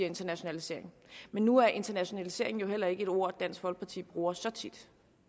internationalisering men nu er internationalisering jo heller ikke et ord dansk folkeparti bruger så tit